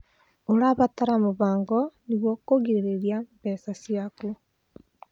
ũrabatara mũbango nĩguo kũgirĩrĩria mbeca ciaku.